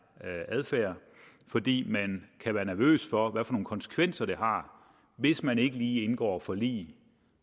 adfærd fordi man kan være nervøs for nogle konsekvenser det har hvis man ikke lige indgår forlig